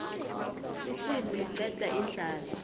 isimu liqeda indlala